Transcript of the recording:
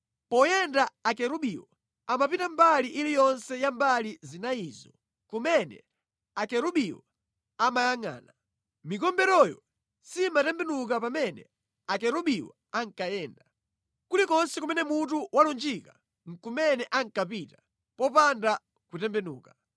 Poyenda akerubiwo, amapita mbali iliyonse ya mbali zinayizo kumene akerubiwo amayangʼana. Mikomberoyo simatembenuka pamene akerubiwo ankayenda. Kulikonse kumene mutu walunjika nʼkumene ankapita popanda kutembenuka.